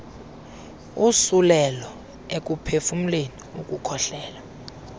usulelo ekuphefumleni ukukhohlela